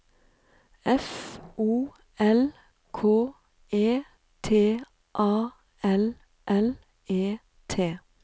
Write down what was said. F O L K E T A L L E T